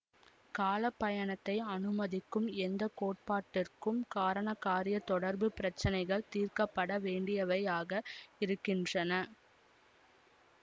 கால பயணத்தை அனுமதிக்கும் எந்த கோட்பாட்டிற்கும் காரணகாரியத் தொடர்பு பிரச்சினைகள் தீர்க்க பட வேணடியவையாக இருக்கின்றன